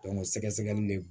sɛgɛsɛgɛli de